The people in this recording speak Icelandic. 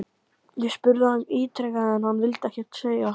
Ég spurði hann ítrekað en hann vildi ekkert segja???